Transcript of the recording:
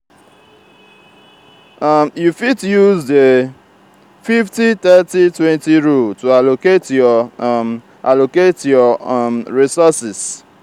you fit use di 50/30/20 rule to allocate your um allocate your um resources.